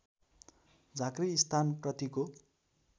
झाँक्री स्थान प्रतिको